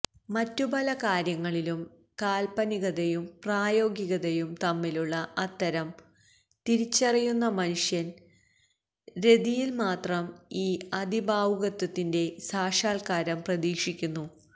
മറ്റു പല കാര്യങ്ങളിലും കാല്പനികതയും പ്രായോഗികതയും തമ്മിലുള്ള അന്തരം തിരിച്ചറിയുന്ന മനുഷ്യന് രതിയില് മാത്രം ഈ അതിഭാവുകത്വത്തിന്റെ സാക്ഷാല്ക്കാരം പ്രതീക്ഷിക്കുന്നു